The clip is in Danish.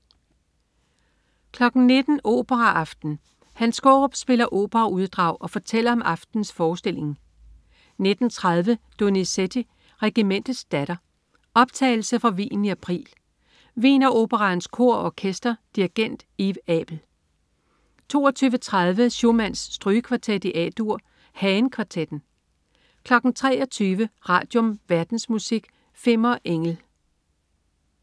19.00 Operaaften. Hans Skaarup spiller operauddrag og fortæller om aftenens forestilling 19.30 Donizetti: Regimentets datter. Optagelse fra Wien i april. Wiener Operaens Kor og Orkester. Dirigent: Yves Abel 22.30 Schumanns strygekvartet A-dur. Hagen kvartetten 23.00 Radium. Verdensmusik. Fimmer Engel